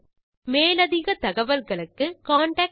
மேலும் அதிக தகவல்களுக்கு எம்மை தொடர்பு கொள்ளவும்